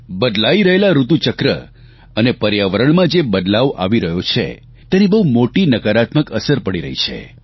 બદલાઇ રહેલા ઋતુચક્ર અને પર્યાવરણમાં જે બદલાવ આવી રહ્યો છે તેની બહુ મોટી નકારાત્મક અસર પડી રહી છે